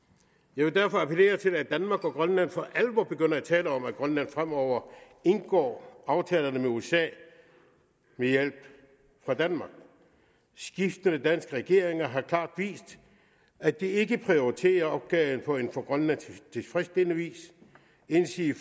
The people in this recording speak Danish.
jeg vil derfor appellere til at danmark og grønland for alvor begynder at tale om at grønland fremover indgår aftalerne med usa med hjælp fra danmark skiftende danske regeringer har klart vist at de ikke prioriterer opgaven på en for grønland tilfredsstillende vis endsige